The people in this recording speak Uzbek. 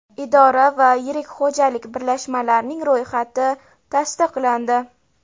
idora va yirik xo‘jalik birlashmalarining ro‘yxati tasdiqlandi.